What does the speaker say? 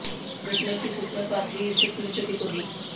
घटना की सूचना पास ही स्थित पुलिस चौकी को दी